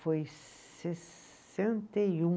Foi em sessenta e um